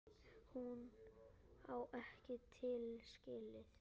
Hún á ekki líf skilið.